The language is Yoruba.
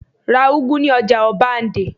Ra úgú ní ọjà ọbándẹ́!